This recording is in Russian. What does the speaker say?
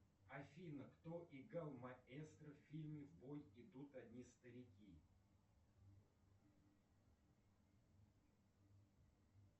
афина кто играл маэстро в фильме в бой идут одни старики